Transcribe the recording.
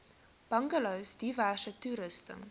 bungalows diverse toerusting